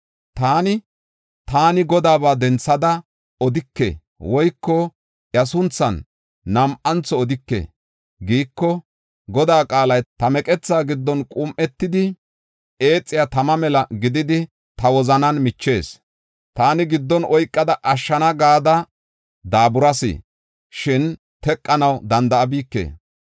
Taani, “Taani GODAABA denthada odike” woyko, “Iya sunthan nam7antho odike” giiko, Godaa qaalay ta meqethaa giddon qum7etidi, eexiya tama mela gididi, ta wozanan michees. Taani giddon oykada ashshona gada daaburas; shin teqanaw danda7abike.